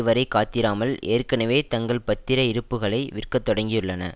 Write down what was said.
வரை காத்திராமால் ஏற்கனவே தங்கள் பத்திர இருப்புக்களை விற்கத் தொடங்கியுள்ளன